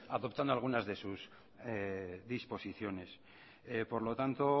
adoptando algunas de sus disposiciones por lo tanto